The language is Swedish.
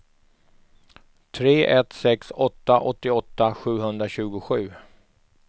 tre ett sex åtta åttioåtta sjuhundratjugosju